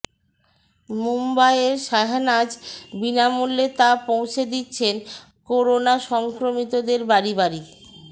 মুম্বইয়ের শাহনাজ বিনামূল্যে তা পৌঁছে দিচ্ছেন করোনা সংক্রমিতদের বাড়ি বাড়ি